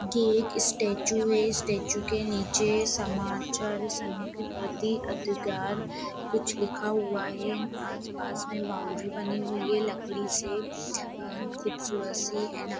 ये एक स्टैचू है स्टैचू के नीचे समाचार सन्माकि की प्रति अधिकार कुछ लिखा हुआ है आसपास में बाउंड्री बनी हुई है लकड़ी से खूबसूरत सी ।